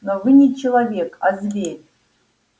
но вы не человек а зверь